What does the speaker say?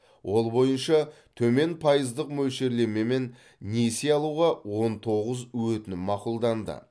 ол бойынша төмен пайыздық мөлшерлемемен несие алуға он тоғыз өтінім мақұлданды